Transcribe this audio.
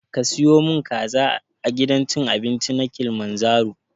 Ka siyo mun kaza a gidan cin abinci na kilimanjaro?